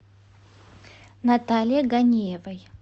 наталье ганиевой